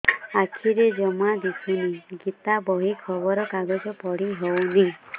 ଆଖିରେ ଜମା ଦୁଶୁନି ଗୀତା ବହି ଖବର କାଗଜ ପଢି ହଉନି